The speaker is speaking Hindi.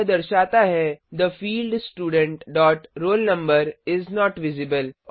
यह दर्शाता है the field student dot roll number is not visible